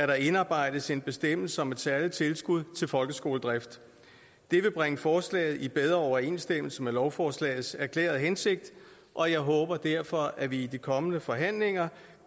der indarbejdes en bestemmelse om et særligt tilskud til folkeskoledrift det vil bringe forslaget i bedre overensstemmelse med lovforslagets erklærede hensigt og jeg håber derfor at vi i de kommende forhandlinger